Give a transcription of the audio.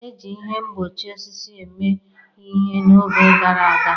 E ji ihe mgbochi osisi mee ihe n'oge gara aga.